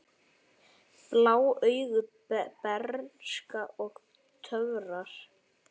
Blá augu, bernska og töfrar